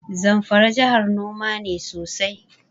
Zamfara jahar noma ne sosai.